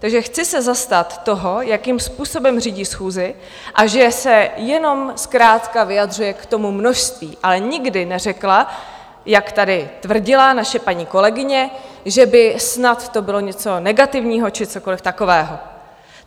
Takže chci se zastat toho, jakým způsobem řídí schůzi a že se jenom zkrátka vyjadřuje k tomu množství, ale nikdy neřekla, jak tady tvrdila naše paní kolegyně, že by snad to bylo něco negativního či cokoliv takového.